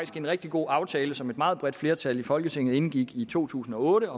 en rigtig god aftale som et meget bredt flertal i folketinget indgik i to tusind og otte